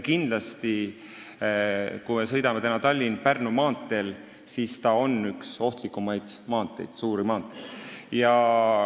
Kindlasti, kui me sõidame Tallinna–Pärnu maanteel, siis me näeme, et see on üks ohtlikumaid suuri maanteid.